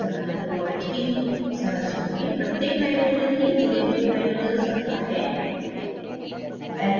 hexamminecobalt iii संरचना में प्रत्येक nitrogen तीन जुड़े हुए hydrogens रखता है